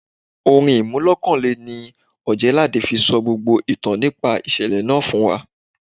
Orin iremolekun ni Ojelade fi sọ gbogbo ìtàn nípa ìṣẹ̀lẹ̀ náà fún wa.